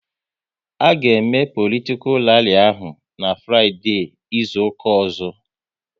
A ga eme politikal ralli ahụ n'Fraideee izuka ọzọ